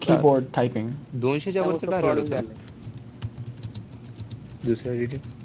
दोनशे च्या वरचं target होतं ना? दुसऱ्या